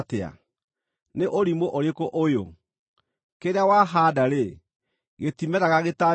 Nĩ ũrimũ ũrĩkũ ũyũ! Kĩrĩa wahaanda-rĩ, gĩtimeraga gĩtambĩte gũkua.